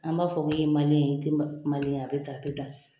An b'a fɔ k'i ye ye, i ti ye a bi tan, a bi tan